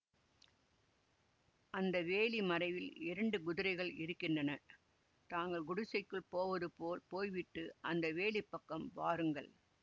அந்த வேலி மறைவில் இரண்டு குதிரைகள் இருக்கின்றன தாங்கள் குடிசைக்குள் போவதுபோல் போய்விட்டு அந்த வேலிப் பக்கம் வாருங்கள்